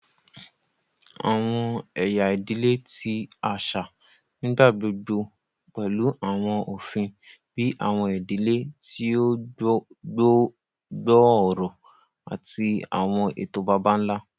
Awọn ẹya idile ti aṣa nigbagbogbo pẹlu awọn ofin bii awọn idile ti o gbooro ati awọn eto baba-nla.